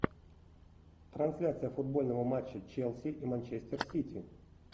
трансляция футбольного матча челси и манчестер сити